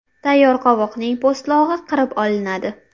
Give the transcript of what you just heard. Tayyor qovoqning po‘stlog‘i qirib olinadi.